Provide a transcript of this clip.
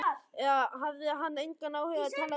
Eða hafði hann engan áhuga á að tala við hana?